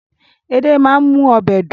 Edé máa ń mú ọbẹ̀ dùn